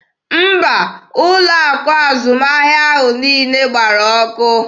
Mba, ụlọ akụ azụmahịa ahụ niile gbara ọkụ.